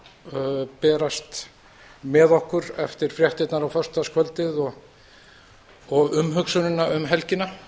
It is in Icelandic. sem berast með okkur eftir fréttirnar á föstudagskvöldið og umhugsunina um helgina